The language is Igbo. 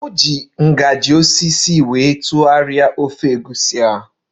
Ọ kpaliri ofe egusi ahụ na spoon osisi